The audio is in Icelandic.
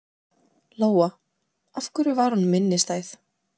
Lóa: Af hverju var hún minnistæð?